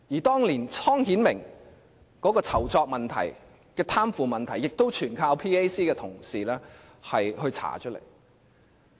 當年湯顯明的酬酢問題和貪腐問題全靠 PAC 同事查出來。